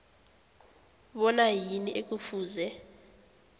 bona yini ekufuze